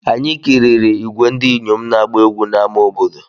Anyị kiriri ìgwè ndị inyom na-agba egwú n'ime ama obodo.